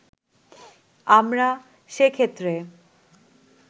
আমরা সেক্ষেত্রে